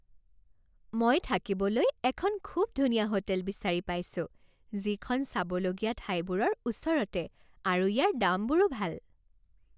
মই থাকিবলৈ এখন খুব ধুনীয়া হোটেল বিচাৰি পাইছোঁ যিখন চাবলগীয়া ঠাইবোৰৰ ওচৰতে আৰু ইয়াৰ দামবোৰো ভাল।